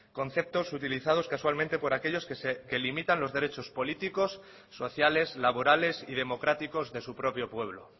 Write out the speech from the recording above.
conceptos utilizados casualmente por aquellos que limitan los derechos políticos sociales laborales y democráticos de su propio pueblo